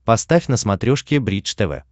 поставь на смотрешке бридж тв